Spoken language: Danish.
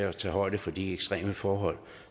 at tage højde for de ekstreme forhold